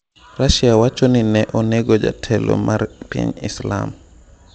Russia wacho ni ne onego jatelo mar piny Islam